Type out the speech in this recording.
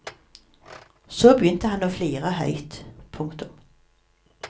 Så begynte han å flire høyt. punktum